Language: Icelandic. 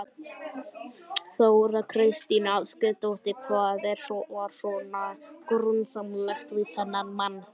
Þóra Kristín Ásgeirsdóttir: Hvað var svona grunsamlegt við þennan mann?